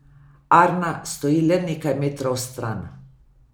Arna stoji le nekaj metrov stran.